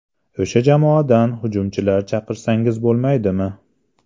O‘sha jamoadan hujumchilar chaqirsangiz bo‘lmaydimi?